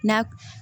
Na